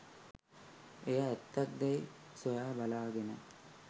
එය ඇත්තක් දැයි සොයා බලාගෙන